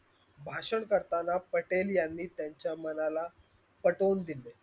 भाषण करताना पटेल यांनी त्यांच्या मनाला पटवून दिले.